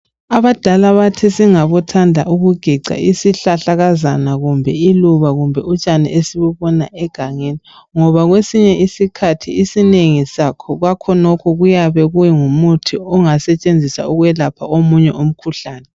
Abadala bathi singabothanda ukugeca isihlahlakazana, kumbe iluba kumbe utshani esibubona egangeni. Ngoba kwesinye isikhathi inengi lakhonokhu kuyabe kungumuthi ingasentshenziswa ukwelapha omunye umkhuhlane.